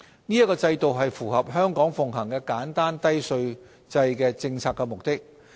此制度符合香港奉行簡單低稅制的政策目的。